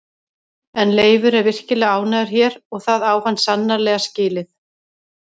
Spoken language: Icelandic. En Leifur er virkilega ánægður hér og það á hann sannarlega skilið.